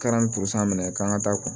Kɛra ni minɛ k'an ka taa kun